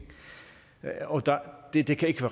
det kan ikke